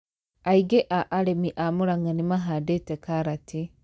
Aingĩ a arĩmĩ a Murang'a nĩmahandĩte karatĩ